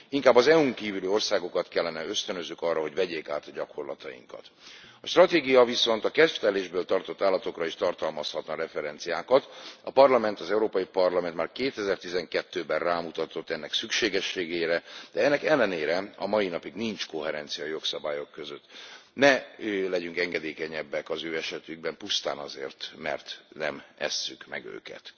Inkább az EU n kívüli országokat kellene ösztönözzük arra, hogy vegyék át a gyakorlatainkat. A stratégia viszont a kedvtelésből tartott állatokra is tartalmazhatna referenciákat, a Parlament, az Európai Parlament már 2012 ben rámutatott ennek szükségességére, de ennek ellenére a mai napig nincs koherencia a jogszabályok között. Ne legyünk engedékenyebbek az ő esetükben pusztán azért, mert nem esszük meg őket.